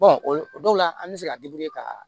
o dɔw la an bɛ se ka ka